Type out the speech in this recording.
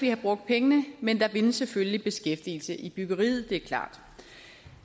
have brugt pengene men der vindes selvfølgelig beskæftigelse i byggeriet det er klart